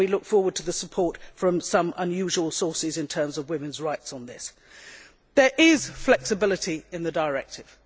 We look forward to support from some unusual sources in terms of women's rights on this. There is flexibility in the directive.